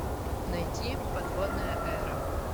найти подводная эра